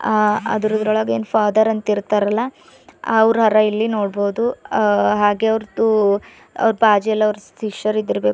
ಅ ಅದರದರೊಳಗೆನ್ ಫಾದರ್ ಅಂತ ಇರ್ತಾರಲ್ಲ ಅವರರ ಇಲ್ಲಿ ನೋಡಬಹುದು ಹಾಗೆ ಅವರದು ಬಾಜು ಅವರ್ ಶಿಷ್ಯರು ಇರಬೇಕು.